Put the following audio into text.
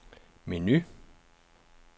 menu